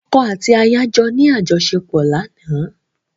Ọ̀kọ́ àti ìyàwó jọ ní àjọṣèpọ̀ lánàá.